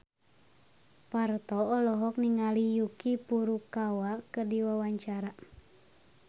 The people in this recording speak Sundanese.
Parto olohok ningali Yuki Furukawa keur diwawancara